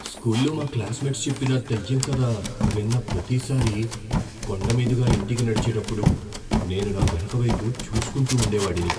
స్కూల్లో మా క్లాస్మేట్స్ చెప్పిన దెయ్యం కథ విన్న ప్రతిసారీ, కొండ మీదుగా ఇంటికి నడిచేటప్పుడు నేను నా వెనుక వైపు చూసుకుంటూ ఉండేవాడిని.